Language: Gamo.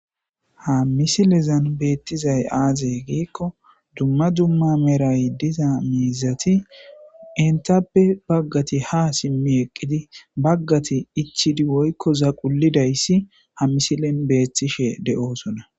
Ha misilezani bettidayi aze gikko duma duma merayi diza mizati entape baggati ha simi eqidi bagati ichidi woyiko zaqulidayisi ha musilen betteshe deyosona